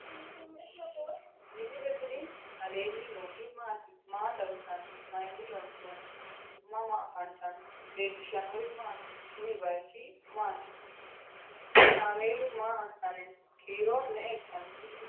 misile tini alenni nooti maati? maa xawissanno? Maayinni loonisoonni? mama affanttanno? leelishanori maati? kuuni bayichu mati ?kamelu maa asani no?kiiro me"e ikano?